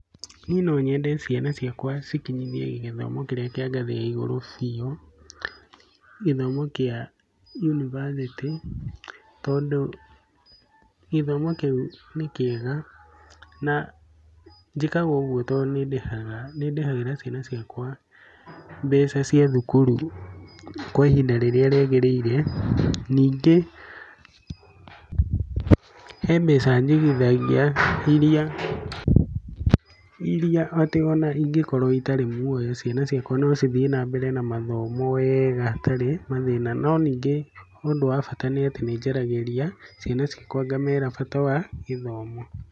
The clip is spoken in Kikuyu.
Niĩ no nyende ciana ciakwa cikinyithie gĩthomo kĩrĩa kĩa ngathĩya igũrũ biũ, gĩthomo kĩa yunibacĩtĩ. Tondũ gĩthomo kĩu nĩ kĩega. Na njĩkaga ũguo tondũ nĩ ndĩhagĩra ciana ciakwa mbeca cia thukuru kwa ihinda rĩrĩa rĩagirĩire. Ningĩ he mbeca njigithagia iria atĩ ona ingĩkorwo itarĩ muoyo, ciana ciakwa no cithiĩ na mbere na mathomo weega hatarĩ na mathĩna. No ningĩ ũndũ wa bata nĩ atĩ nĩ njaragĩria ciana ciakwa ngamera bata wa gĩthomo.